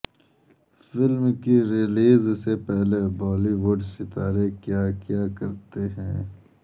film کی release سے پہلے بالی وڈ ستارے کیا کیا کرتے ہیں